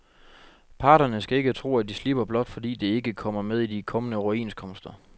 Parterne skal ikke tro, at de slipper, blot fordi det ikke kommer med i de kommende overenskomster.